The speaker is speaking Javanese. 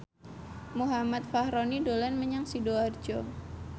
Muhammad Fachroni dolan menyang Sidoarjo